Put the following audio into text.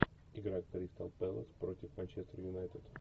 игра кристал пэлас против манчестер юнайтед